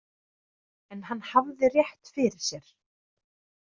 En hann hafði rétt fyrir sér.